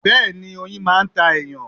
Bẹ́ẹ̀ni, oyin máà ń ta èyàn